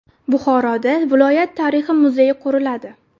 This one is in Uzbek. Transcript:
Buxoroda viloyat tarixi muzeyi quriladi.